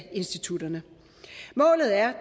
institutterne målet er